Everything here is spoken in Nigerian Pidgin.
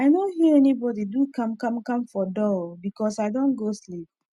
i nor hear anybodi do kamkamkam for door oh becos i Accepted go sleep